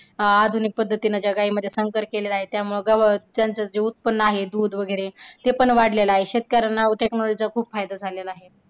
आधुनिक पद्धतीने जे गाईमध्ये त्यामुळे गवस जेंचं जे उत्पन्न आहे दूध वैगरे ते पण वाढलेलं आहे शेतकऱ्यांना technology चा खूप फायदा झालेला आहे.